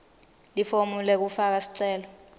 lifomu lekufaka sicelo